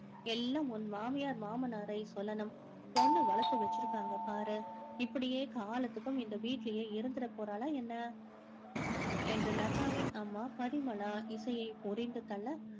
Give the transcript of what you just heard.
எல்லாம் உன் மாமியார் மாமனாரை சொல்லணும். பொண்ணு வளர்த்து வச்சிருக்காங்க பாரு இப்படியே காலத்துக்கும் இந்த வீட்டிலேயே இருந்துட போறாளா என்ன என்று லதாவின் அம்மா பரிமளா இசையை பொரிந்து தள்ள